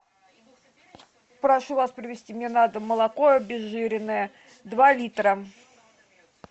прошу вас привезти мне на дом молоко обезжиренное два литра